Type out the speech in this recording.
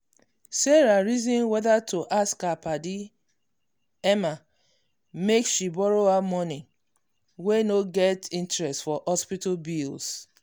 sarah reason whether to ask her padi emma make she borrow her money wey no get interest for hospital bills.